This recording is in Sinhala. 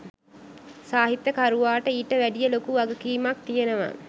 සාහිත්‍යකරුවාට ඊට වැඩිය ලොකු වගකීමක් තියෙනවා.